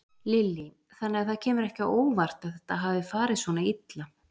Lillý: Þannig að það kemur ekki á óvart að þetta hafi farið svona illa?